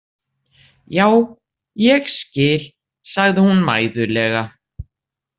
Já, ég skil, sagði hún mæðulega.